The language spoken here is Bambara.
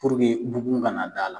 bugun kana da la.